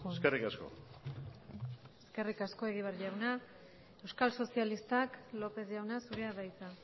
eskerrik asko eskerrik asko egibar jauna euskal sozialistak lópez jauna zurea da hitza